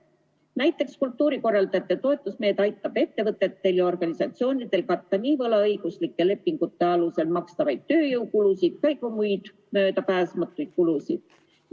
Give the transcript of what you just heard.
Näiteks aitab kultuurikorralduse toetusmeede ettevõtetel ja organisatsioonidel katta nii võlaõiguslike lepingute alusel makstavaid tööjõukulusid kui ka muid möödapääsmatuid kulusid.